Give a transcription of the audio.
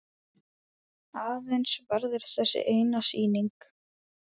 Aðeins verður þessi eina sýning.